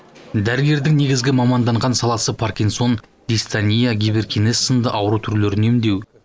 дәрігердің негізгі маманданған саласы паркинсон дистания гиперкинез сынды ауру түрлерін емдеу